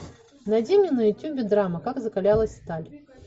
найди мне на ютюбе драма как закалялась сталь